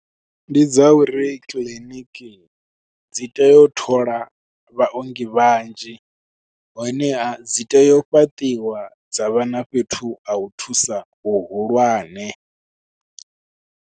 Ndi dza uri clinic dzi tea u thola vhaongi vhanzhi, honeha dzi tea u fhaṱiwa dza vha na fhethu ha u thusa hu hulwane.